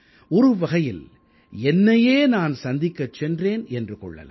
ஒருவகையில் என்னையே நான் சந்திக்கச் சென்றேன் என்று கொள்ளலாம்